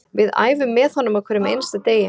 Við æfum með honum á hverjum einasta degi